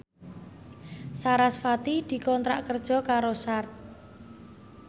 sarasvati dikontrak kerja karo Sharp